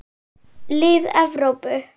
Lið Evrópu.